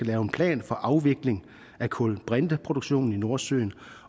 lave en plan for afvikling af kulbrinteproduktionen i nordsøen